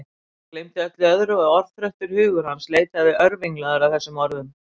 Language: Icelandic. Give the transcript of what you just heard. Hann gleymdi öllu öðru og örþreyttur hugur hans leitaði örvinglaður að þessum orðum.